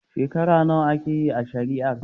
Shekara nawa aka yi ana shari'ar?